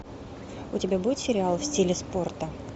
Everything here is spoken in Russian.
у тебя будет сериал в стиле спорта